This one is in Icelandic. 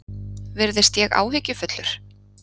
Virðist ég áhyggjufullur?